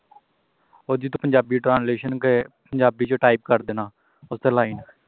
ਜਿਥੋਂ ਪੰਜਾਬੀ translation ਕੇ ਪੰਜਾਬੀ ਵਿੱਚ type ਕਰ ਦੇਣਾ ਓਥੇ line